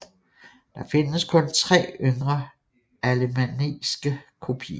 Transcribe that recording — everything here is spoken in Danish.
Der findes kun tre yngre alemanniske kopier